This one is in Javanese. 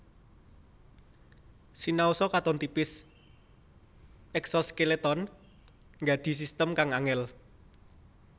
Sinaosa katon tipis eksoskeleton nggadhi sistem kang angèl